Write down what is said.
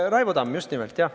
Raivo Tamm, just nimelt, jah.